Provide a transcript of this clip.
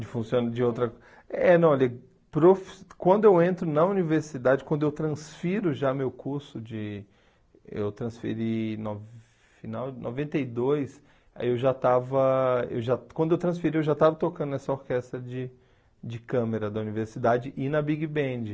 De funciona de outra... É, não, olha, profissi quando eu entro na universidade, quando eu transfiro já meu curso de... Eu transferi no final noventa e dois, aí eu já estava eu já... Quando eu transferi, eu já estava tocando nessa orquestra de de câmera da universidade e na Big Band.